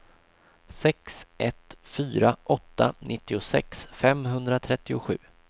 sex ett fyra åtta nittiosex femhundratrettiosju